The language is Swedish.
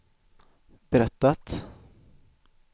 berättat